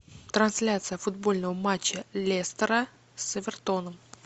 трансляция футбольного матча лестера с эвертоном